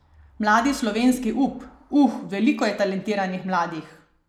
Mladi slovenski up: "Uh, veliko je talentiranih mladih!